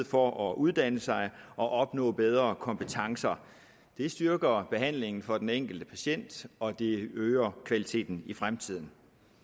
for at uddanne sig og opnår bedre kompetencer det styrker behandlingen for den enkelte patient og det øger kvaliteten i fremtiden